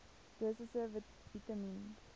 dosisse vitamien